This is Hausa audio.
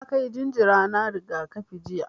Na kai jinjira na rigakafi jiya.